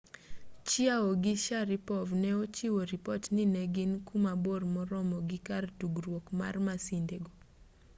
chiao gi sharipov ne ochiwo ripot ni ne gin ku mabor moromo gi kar tugruok mar masindego